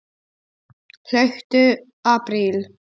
Hlauptu apríl.